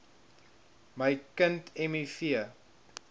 my kind miv